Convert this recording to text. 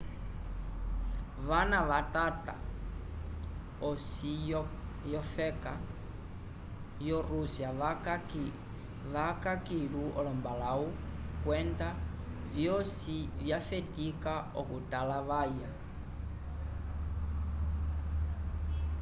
vana vatata osi yofeka yo-rússia vaca kilu olombalãwu kwenda vyosi vyafetika okutalavaya